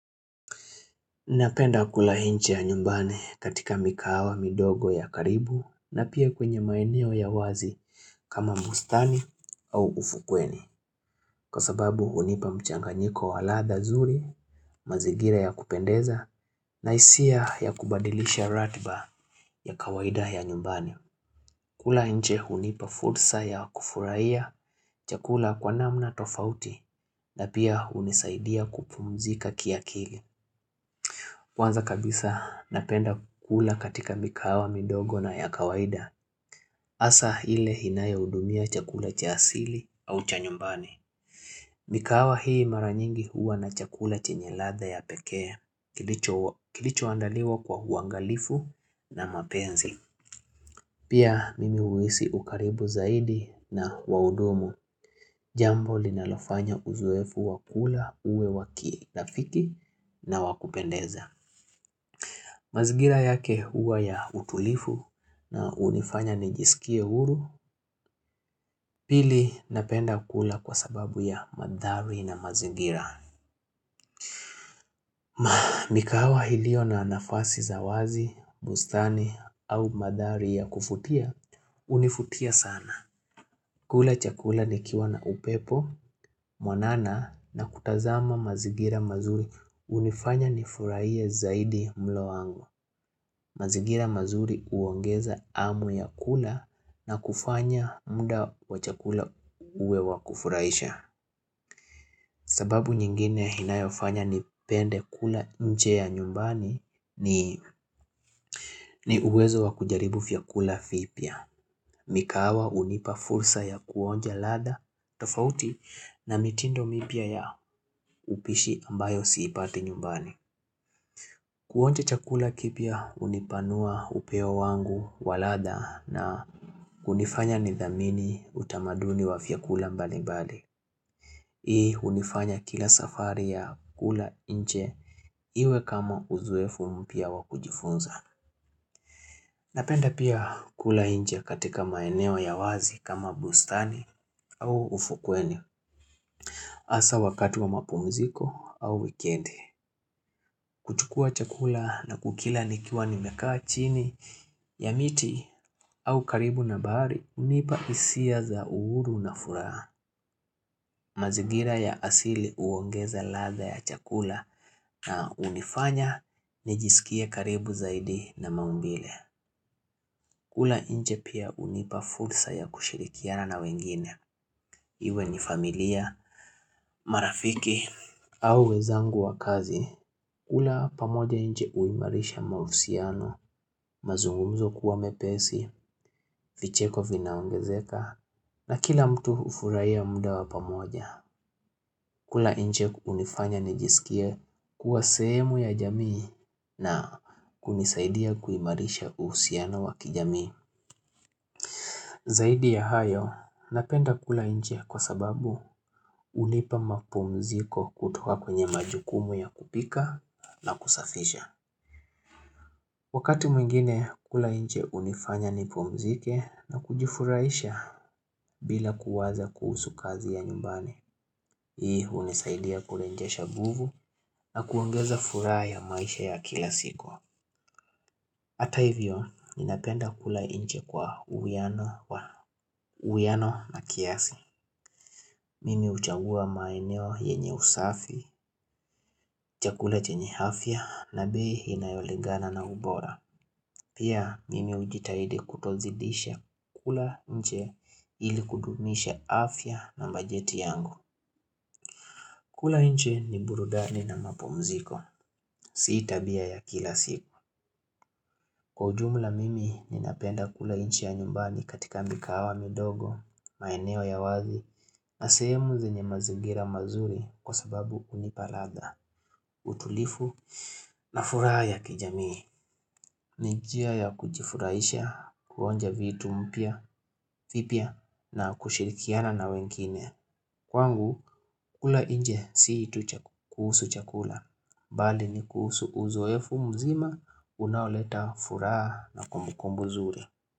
Napenda kula inchi ya nyumbani katika mikahawa midogo ya karibu na pia kwenye maeneo ya wazi kama mustani au ufukweni. Kwa sababu unipa mchanganyiko waladha zuri, mazigira ya kupendeza na isia ya kubadilisha ratba ya kawaida ya nyumbani. Kula nje unipa fursa ya kufuraiya, chakula kwa namna tofauti na pia unisaidia kupumzika kia kili. Kwanza kabisa napenda kula katika mikahawa midogo na yakawaida Asa hile hinaye udumia chakula cha asili au cha nyumbani mikahawa hii mara nyingi huwa na chakula chenye ladha ya pekee Kilicho andaliwa kwa uangalifu na mapenzi Pia mimi uisi ukaribu zaidi na waudumu Jambo linalofanya uzoefu wakula uwe waki nafiki na wakupendeza mazigira yake huwa ya utulifu na unifanya nijisikie uru pili napenda kula kwa sababu ya madhari na mazingira. Maa mikawa hilio na nafasi zawazi, bustani au madhari ya kufutia, unifutia sana. Kula chakula ni kiwa na upepo, mwanana na kutazama mazigira mazuri unifanya ni furaie zaidi mlowangu. Mazigira mazuri uongeza amu ya kula na kufanya mda wachakula uwe wakufuraisha sababu nyingine hinayofanya nipende kula nje ya nyumbani ni uwezo wakujaribu vya kula vipya mikahawa unipa fursa ya kuonja ladha, tofauti na mitindo mipya ya upishi ambayo siipati nyumbani Kuonja chakula kipya unipanua upeo wangu waladha na kunifanya nidhamini utamaduni wafyakula mbalibali Hii unifanya kila safari ya kula inche iwe kama uzoefu mpya wakujifunza Napenda pia kula inche katika maeneo ya wazi kama bustani au ufukweni Asa wakati wa mapumziko au weekend kuchukua chakula na kukila nikiwa nimekaa chini ya miti au karibu na bahari unipa isia za uhuru na furaha. Mazigira ya asili uongeza ladha ya chakula na unifanya nijisikie karibu zaidi na maumbile. Kula inje pia unipa fulsa ya kushirikiana na wengine. Iwe ni familia, marafiki au wezangu wa kazi. Kula pamoja inje uimarisha mahusiano, mazungumzo kuwa mepesi, vicheko vinaongezeka na kila mtu ufurai ya muda wa pamoja. Kula inje unifanya nijisikia kuwa sehemu ya jamii na kunisaidia kuimarisha uhusiano wa kijamii. Zaidi ya hayo, napenda kula inje kwa sababu unipa mapumziko kutoka kwenye majukumu ya kupika na kusafisha. Wakati mwingine kula inje unifanya ni pumzike na kujifuraisha bila kuwaza kuhusu kazi ya nyumbani. Hii unisaidia kurenjesha nguvu na kuongeza furaha ya maisha ya kila siku Hata hivyo, ninapenda kula inje kwa uwiano na kiasi. Mimi uchagua maeneo yenye usafi, chakula chenye afya na bei inayolegana na ubora. Pia mimi ujitaidi kutozidisha kula nche ili kudumisha afya na bajeti yangu. Kula nche ni burudani na mapumziko. Sii tabia ya kila siku. Kwa ujumla mimi, ninapenda kula inche ya nyumbani katika mikahawa midogo, maeneo ya wazi, na sehemu zenye mazigira mazuri kwa sababu unipaladha, utulifu, na furaha ya kijamii. Nijia ya kujifuraisha, kuonja vitu mpya, vipya, na kushirikiana na wengine. Kwa ngu kula inje sii kuhusu chakula Bali ni kuhusu uzoefu mzima unaoleta furaha na kumbukumbu zuri.